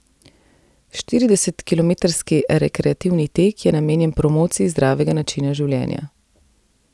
Štiridesetkilometrski rekreativni tek je namenjen promociji zdravega načina življenja.